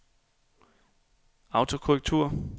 autokorrektur